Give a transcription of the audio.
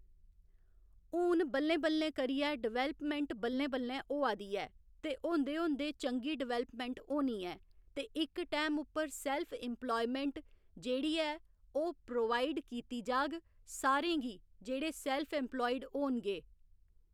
हून बल्लें बल्लें करियै डिवैल्पमैंट बल्लें बल्लें होआ दी ऐ ते होंदे होंदे चंगी डिवैल्पमैंट होनी ऐ ते इक टैम उप्पर सैल्फ इंप्लायमेंट जेह्ड़ी ऐ ओह् प्रोवाइड कीती जाह्ग सारें गी जेह्ड़े सैल्फ इंप्लायड होङन।